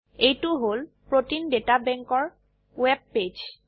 এইটো হল protein data bank এৰ ওয়েব পেজ